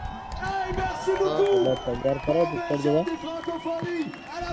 એટલે ખરો picture જોવા